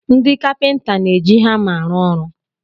Ndị kapịnta na-eji hama arụ ọrụ.